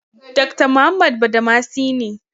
Dakta Muhammad Badamasi ne.